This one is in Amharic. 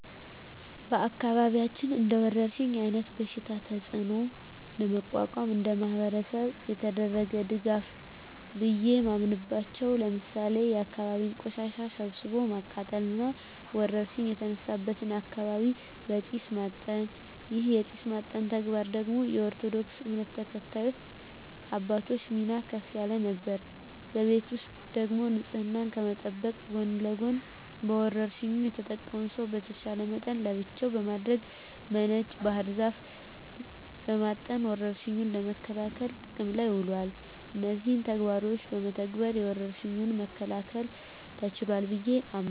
በአካባቢያችን እንደወረርሽኝ አይነት በሽታ ተጽኖ ለመቋቋም እንደማህበረሰብ የተደረገ ድጋፍ ቢየ ማምናበቻው ለምሳሌ የአካባቢን ቆሻሻ ሰብስቦ ማቃጠል እና ወረርሽኝ የተነሳበትን አካባቢ በጢስ ማጠን ይህን የጢስ ማጠን ተግባር ደግሞ የኦርቶዶክስ እምነት ተከታይ አባቶች ሚና ከፍ ያለ ነበር። በቤት ውስጥ ደግሞ ንጽህናን ከመጠበቅ ጎን ለጎን በወርሽኙ የተጠቃውን ሰው በተቻለ መጠን ለብቻው በማድረግ በነጭ ባህር ዛፍ በማጠን ወረርሽኙን ለመከላከል ጥቅም ላይ ውሏል። እነዚህን ተግባሮች በመተግበር ወረርሽኙን መከላከል ተችሏል ብየ አምናለሁ።